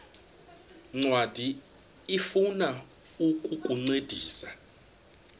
ncwadi ifuna ukukuncedisa